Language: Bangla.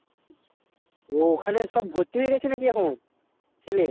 ও ওখানে সব ভর্তি হয়েগেছে নাকি এখন শুনে